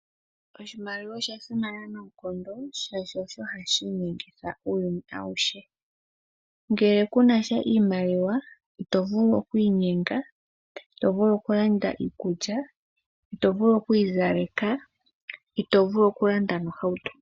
Oshimaliwa osha simana noonkondo shaashi osho hashi inyengitha uuyuni awuhe. Ngele ku na sha iimaliwa ito vulu okwiinyenga, okulanda iikulya, okwiizaleka nokulanda ohauto.